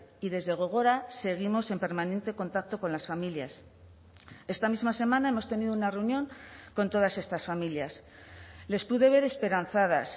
y desde gogora seguimos en permanente contacto con las familias esta misma semana hemos tenido una reunión con todas estas familias les pude ver esperanzadas